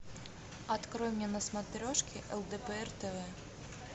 открой мне на смотрешке лдпр тв